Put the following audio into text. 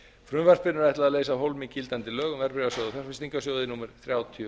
frumvarpinu er ætlað að leysa af hólmi gildandi lög um verðbréfasjóði og fjárfestingarsjóði númer þrjátíu